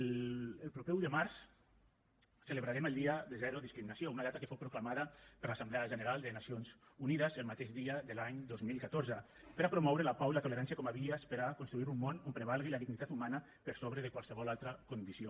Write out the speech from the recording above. el proper un de març celebrarem el dia de zero discriminació una data que fou proclamada per l’assemblea general de nacions unides el mateix dia de l’any dos mil catorze per a promoure la pau i la tolerància com a vies per a construir un món on prevalgui la dignitat humana per sobre de qualsevol altra condició